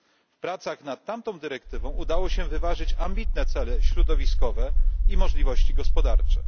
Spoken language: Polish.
W pracach nad tamtą dyrektywą udało się wyważyć ambitne cele środowiskowe i możliwości gospodarcze.